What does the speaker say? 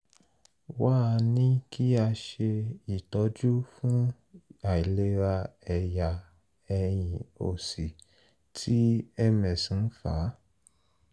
wá a ní kí a ṣe itọju fún àìlera ẹ̀yà ẹ̀yìn òsì tí ms ń fà